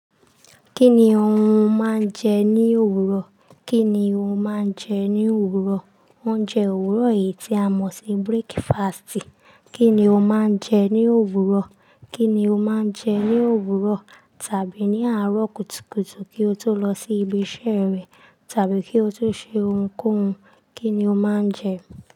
Kí ni ohun máa ń jẹ ní òwúrọ̀? Kí ni o máa ń jẹ ní òwúrọ̀? Oúnjẹ òwúrọ̀ yìí tí a mọ̀ sí breakfast. Kí ni o máa ń jẹ ní òwúrọ̀? Kíni o máa ń jẹ ní òwúrọ̀ tàbí ní àárọ̀ kùtùkùtù kí o tó lọ sí ibi iṣẹ́ rẹ tàbí kí o tó ṣe ohunkóhun? Kí ni o máa ń jẹ?